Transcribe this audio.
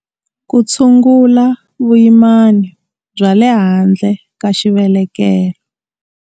Ku tshungula vuyimani bya le handle ka xivelekelo.